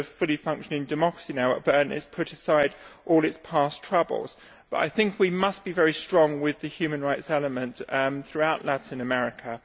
It is now a fully functioning democracy and has put aside all its past troubles, but I think we must be very strong with the human rights element throughout Latin America.